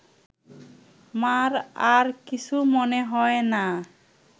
মা’র আর কিছু মনে হয় না